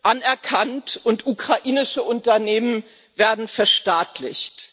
anerkannt und ukrainische Unternehmen werden verstaatlicht.